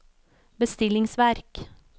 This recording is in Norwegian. bestillingsverk